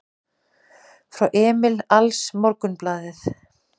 Frá Emil AlsMorgunblaðið